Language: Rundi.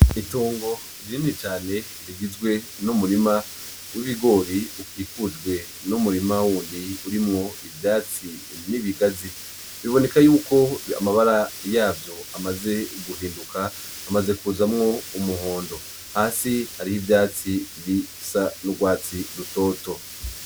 Itongo rinini cane rigizwe n'umurima w'ibigori ukikujwe n'umurima wundi urimwo ivyatsi n'ibigazi, biboneka yuko amabara yavyo amaze guhinduka amaze kuzamwo umuhondo hasi hariho ivyatsi bisa n'ugwatsi rutoto.